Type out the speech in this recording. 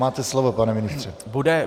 Máte slovo, pane ministře.